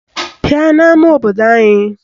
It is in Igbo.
Bịa n'ama obodo anyị!